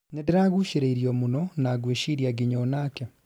nindiragũcĩrĩirio mũno na ngwĩciria nginya o nake.